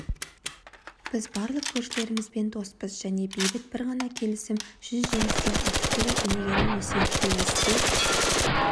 біз барлық көршілерімізбен доспыз және бейбіт бір ғана келісім жүз жеңістен артық деген өнегелі өсиетті есте